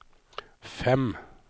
fem